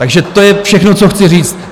Takže to je všechno, co chci říct.